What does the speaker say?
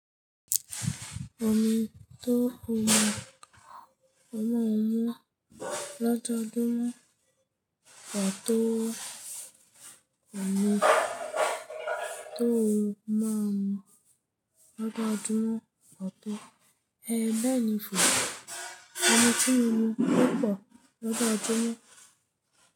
Omi tó wọ́n máa mu lọ́jọ́júmo ọ tó wọ́n, omi tó wọ́n máa mu lọ́jọ́júmo ọ tó, ẹẹ́ lẹ́yìn fún mi. Ọmọ tí mo mu púpọ̀ lọ́jọ́júmo.